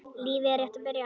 Lífið er rétt að byrja.